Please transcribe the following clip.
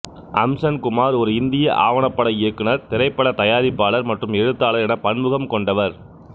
அம்சன் குமார் ஒரு இந்திய ஆவணப்பட இயக்குனர் திரைப்பட தயாரிப்பாளர் மற்றும் எழுத்தாளர் என பன்முகம் கொண்டவர்